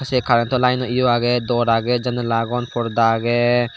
siye karento layno yo agey dor agey janla agon porda agey.